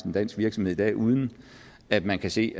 en dansk virksomhed i dag uden at man kan se